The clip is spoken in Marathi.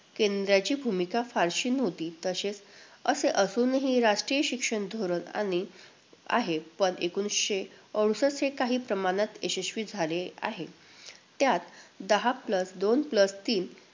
केंद्राची भूमिका फारशी नव्हती. तसेच असे असूनही राष्ट्रीय शिक्षण धोरण आणि~ आहे पण एकोणवीसशे अडुसष्ठ हे काही प्रमाणात यशस्वी झाले आहे. त्यात, दहा plus दोन plus तीन